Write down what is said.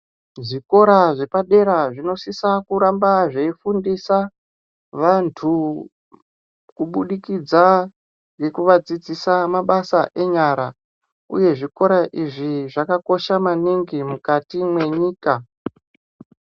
Zvekora zvepadera zvinosisa kuramba zveifundisa vantu kubudikidza ngekuvadzidzisa mabasa enyara uye zvikora izvi zvakakosha maningi mukati mwenyika .